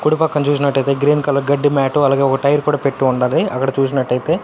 కుడి పక్కన చూసినట్టయితే గ్రీన్ కలర్ గడ్డి మ్యాటు అలగే ఒక టైర్ కూడా పెట్టి ఉండాది అక్కడ చూసినట్టయితే.